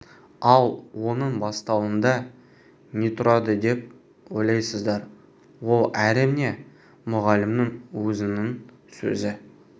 ал оның бастауында не тұрады деп ойлайсыздар ол әрине мұғалімнің өзінің сөзі